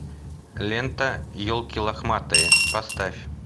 лента елки лохматые поставь